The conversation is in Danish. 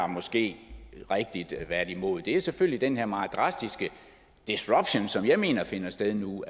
måske har været imod er selvfølgelig den her meget drastiske disruption som jeg mener finder sted nu